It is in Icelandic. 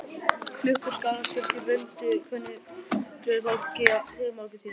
Klukkur Skálholtskirkju buldu og kölluðu fólk til morguntíða.